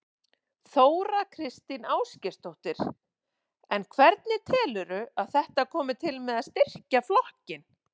Þóra Kristín Ásgeirsdóttir: En hvernig telurðu að þetta komi til með að styrkja flokkinn?